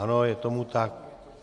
Ano, je tomu tak.